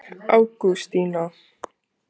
Ágústína